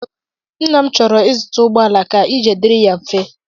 Nna m chọrọ ịzụta ụgbọala ka ije dịrị ya mfe.